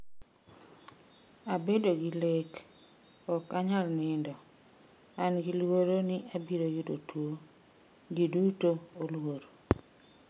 "Abedo gi lek. Ok anyal nindo. An gi luoro ni abiro yudo tuwo. Ji duto oluor."